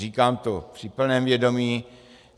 Říkám to při plném vědomí.